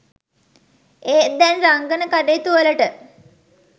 ඒත් දැන් රංගන කටයුතුවලට